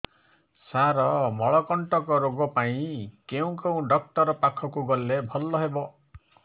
ସାର ମଳକଣ୍ଟକ ରୋଗ ପାଇଁ କେଉଁ ଡକ୍ଟର ପାଖକୁ ଗଲେ ଭଲ ହେବ